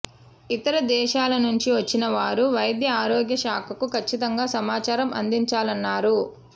ఇతర దేశాల నుంచి వచ్చిన వారు వైద్య ఆరోగ్య శాఖకు ఖచ్చితంగా సమాచారం అందించాలన్నారు